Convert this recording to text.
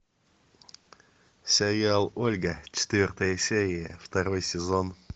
сериал ольга четвертая серия второй сезон